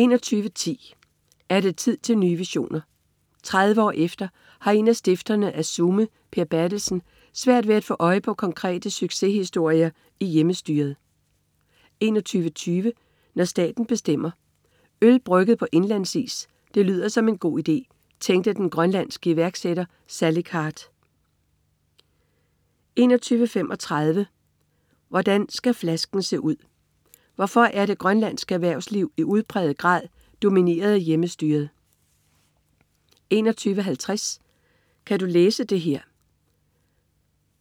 21.10 Er det tid til nye visioner? 30 år efter har en af stifterne af Sume, Per Berthelsen, svært ved at få øje på konkrete succeshistorier i Hjemmestyret 21.20 Når staten bestemmer. Øl brygget på indlandsis, det lyder som en god idé, tænkte den grønlandske iværksætter Salik Hard 21.35 Hvordan skal flasken se ud? Hvorfor er det grønlandske erhvervsliv i udpræget grad domineret af Hjemmestyret? 21.50 Kan du læse det her?